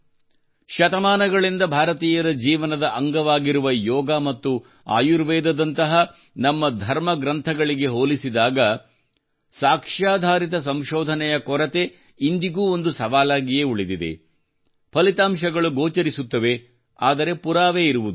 ಶತಮಾನಗಳಿಂದ ಭಾರತೀಯರ ಜೀವನದ ಅಂಗವಾಗಿದ್ದ ಯೋಗ ಮತ್ತು ಆಯುರ್ವೇದದಂತಹ ನಮ್ಮ ಧರ್ಮಗ್ರಂಥಗಳಿಗೆ ಹೋಲಿಸಿದಾಗ ಸಾಕ್ಷ್ಯಾಧಾರಿತ ಸಂಶೋಧನೆಯ ಕೊರತೆಯು ಇಂದಿಗೂ ಒಂದು ಸವಾಲಾಗಿಯೇ ಉಳಿದಿದೆ ಫಲಿತಾಂಶಗಳು ಗೋಚರಿಸುತ್ತವೆ ಆದರೆ ಪುರಾವೆ ಇರುವುದಿಲ್ಲ